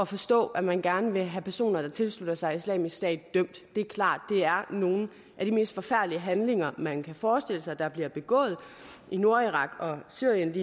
forstå at man gerne vil have personer der tilslutter sig islamisk stat dømt det er klart at det er nogle af de mest forfærdelige handlinger man kan forestille sig der bliver begået i nordirak og syrien